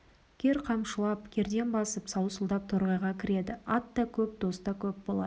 кер қамшылап кердең басып саусылдап торғайға кіреді ат та көп дос та көп болады